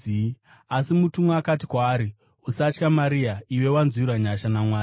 Asi mutumwa akati kwaari, “Usatya, Maria, iwe wanzwirwa nyasha naMwari.